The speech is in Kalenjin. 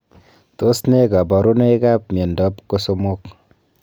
Tos nee kabarunoik ap miondoop kosomok?